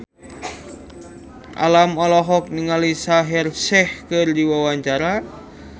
Alam olohok ningali Shaheer Sheikh keur diwawancara